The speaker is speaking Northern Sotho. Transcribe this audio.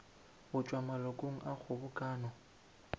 go tšwa malokong a kgobokano